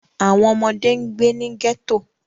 Awọn ọmọde n gbe ni ghetto.